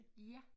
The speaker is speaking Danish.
Ja